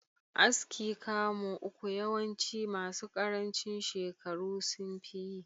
Aski kamu uku yawanci masu karancin shekaru sunfi yi.